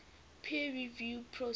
peer review process